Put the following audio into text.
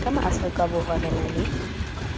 ka maafrikaborwa re na le